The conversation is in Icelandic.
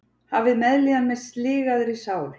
Hafið meðlíðan með sligaðri sál.